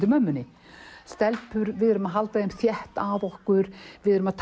í bumbunni stelpur við erum að halda þeim þétt að okkur við erum að